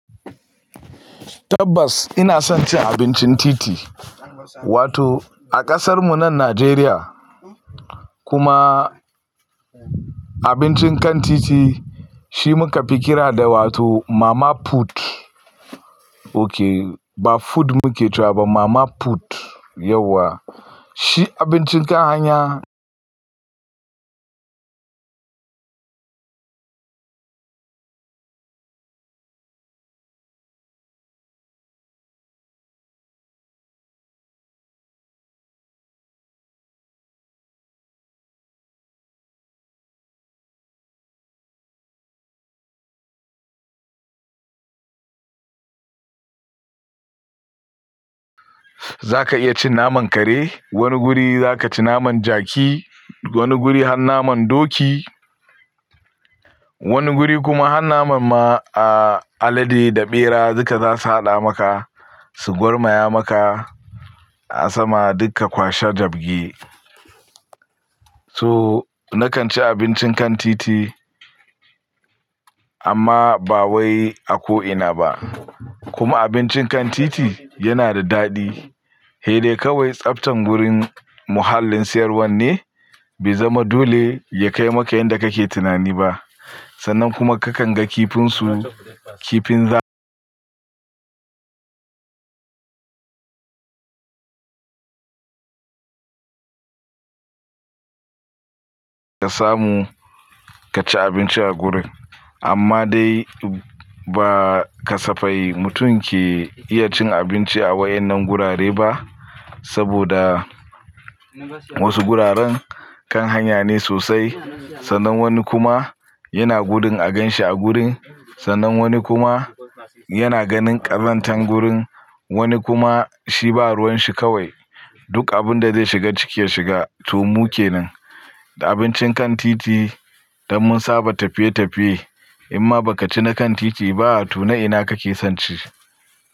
Tabbas ina son cin abincin titi, wato a kasar mu nan Najeriya kuma abincin kan titi shi muka fi kira da wato mama food. Ok, ba food muke cewa ba mama food yauwa. Shi abincin kan hanya. Zaka iya cin naman kare, wani guri zaka ci naman jaki, wani guri har naman doki, wani guri kuma har naman ma alade da bera duka zasu haɗa maka su gurmaya maka a sama duka kwashe jabge. So nakan ci abincin kan titi amma ba wai a ko ina ba. Kuma abincin kan titi yana da daɗi. Sai dai kawai tsaftan wurin muhallin siyarwan ne ba zama dole ya kai maka yanda kake tunani ba. Sannan kuma kakan ga kifinsu, kifin ka samu ka ci abinci a gurin. Amma dai ba ka safai mutum ke iya cin abinci a wayannan gurare ba saboda wasu guraren kan hanya ne sosai. Sannan wani kuma yana gudun aganshi a gurin, sannan wani kuma yana ganin ƙazantan gurin, wani kuma shi ba ruwan shi kawai duk abun da zai shiga ciki ya shiga to mu ke nan. Da abincin kan titi don mun saba tafiye tafiye in ma ba ka ci na kan titi ba to na ina kake son ci?